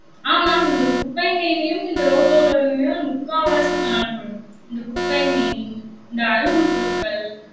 ஆமாம், இந்த குப்பைமேனியும் இந்த ரோட்டோரங்களில் முக்காவாசி காணப்படும். இந்த குப்பைமேனி, இந்த அருகம்புற்கள்